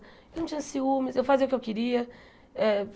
Ele não tinha ciúmes, eu fazia o que eu queria. É